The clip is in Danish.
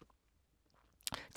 TV 2